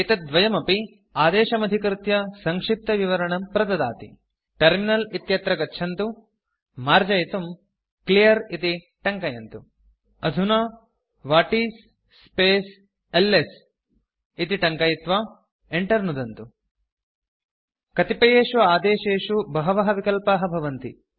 एतद्द्वयमपि आदेशमधिकृत्य सङ्क्षिप्तविवरणं प्रददाति टर्मिनल इत्यत्र गच्छन्तु मार्जयितुम् क्लियर् इति टङ्कयन्तु अधुना व्हाटिस् स्पेस् एलएस इति टङ्कयित्वा enter नुदन्तु कतिपयेषु आदेशेषु बहवः विकल्पाः भवन्ति